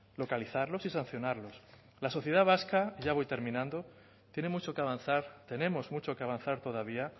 localizarlos y sancionarlos la sociedad vasca y ya voy terminando tiene mucho que avanzar tenemos mucho que avanzar todavía